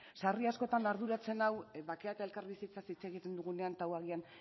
sarri askotan arduratzen nau bakea eta elkarbizitzaz hitz egiten dugunean eta hau agian